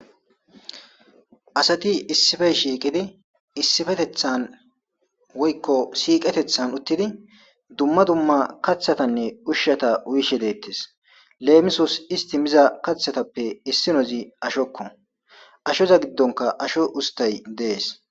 Asati issipe shiqidi issipetethan woykko shiqetethan uttidi duma duma kathata ushata uyishe deetes lemisos isti miza kathatappe Ashoza gidonka Asho ustay dees.